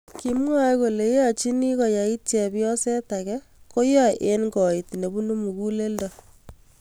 Kimwae kolee yeachiini koyaaiit chepyooseet ake , koyae eng' koit nebunuu muguleeldo